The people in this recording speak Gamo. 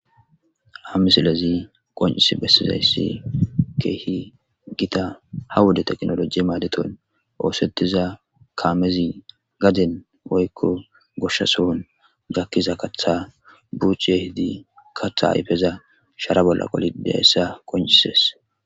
ha misilezi qoncis bessizayssi keehi gita ha wuda teknoloji maadeton oosettiza kaamezi gaden oykko goshsha sohon gakkiza katha buuch yehedi kaththa ayfeza shara bolla qoli deyssa qoncises